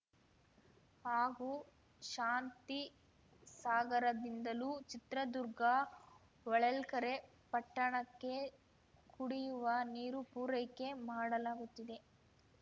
ಹಾಗೂ ಶಾಂತಿಸಾಗರದಿಂದಲೂ ಚಿತ್ರದುರ್ಗ ಹೊಳಲ್ಕೆರೆ ಪಟ್ಟಣಕ್ಕೆ ಕುಡಿಯುವ ನೀರು ಪೂರೈಕೆ ಮಾಡಲಾಗುತ್ತಿದೆ